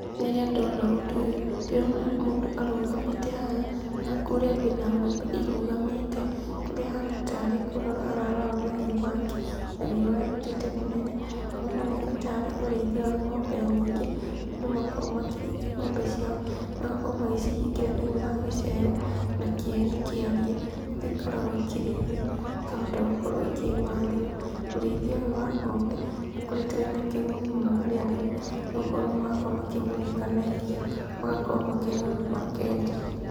Rĩrĩa ndona ũndũ ũyũ, ndĩrona mũndũ arũgamĩte haha, na kũrĩa kwĩna ngombe irũgamĩte, kũrĩa ahana tarĩ kũrora ararora mahiũ make, na wĩra ũrĩa arũtĩte mũnene nĩ ũroneka tarĩ ũrĩithia wa ngombe nyingĩ, andũ makoragwo makĩrĩithia ngombe ciao, magakorwo magĩcihingĩra thĩiniĩ wa gĩcegũ , na kieni kĩariĩ , kũrĩa ikorwagwo ikĩrĩithio ikahota gũkorwo ikĩmathĩra, ũrĩithia ũyũ wa ngombe ũkoretwo wĩna kĩguni mũno harĩ arĩmi, nĩgũkorwo marakorwo makĩgunĩka na iria, magakorwo makĩnyua na makendia.